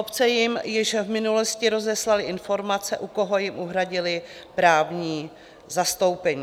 Obce jim již v minulosti rozeslaly informace, u koho jim uhradily právní zastoupení.